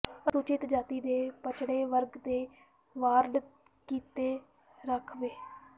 ਅਨੁਸੂਚਿਤ ਜਾਤੀ ਤੇ ਪੱਛੜੇ ਵਰਗ ਦੇ ਵਾਰਡ ਕੀਤੇ ਰਾਖਵੇਂ